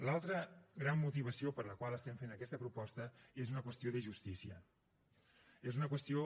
l’altra gran motivació per la qual estem fent aquesta proposta és per una qüestió de justícia és una qüestió